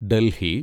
Delhi